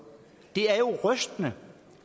det er jo rystende